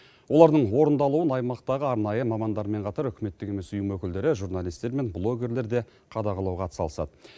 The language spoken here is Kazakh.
олардың орындалуын аймақтағы арнайы мамандармен қатар үкіметтік емес ұйым өкілдері журналистер мен блогерлер де қадағалауға атсалысады